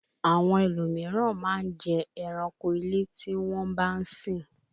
Àwọn ẹlòmíràn máa n jẹ ẹranko ilé tí won bá sin